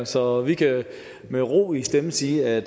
så vi kan med ro i stemmen sige at